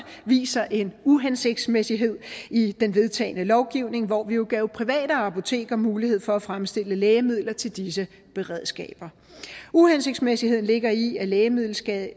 vist sig en uhensigtsmæssighed i den vedtagne lovgivning hvor vi jo gav private apoteker mulighed for at fremstille lægemidler til disse beredskaber uhensigtsmæssigheden ligger i at lægemiddelskader